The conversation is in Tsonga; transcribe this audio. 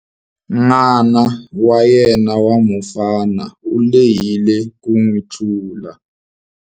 N'wana wa yena wa mufana u lehile ku n'wi tlula.